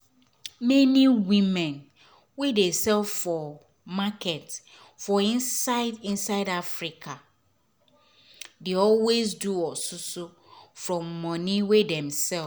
many women wey dey sell for market for inside inside africa dey always do osusu from moni wey dem sell.